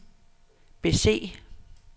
bese